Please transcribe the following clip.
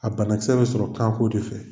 A banakisɛ bɛ sɔrɔ kanko de fɛ